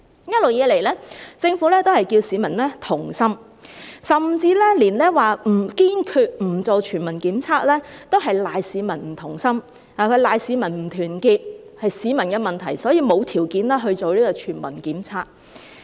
一直以來，政府都是叫市民同心，甚至之前說堅決不進行全民檢測都推搪是市民不同心，說市民不團結，是市民的問題，所以沒有條件進行全民檢測。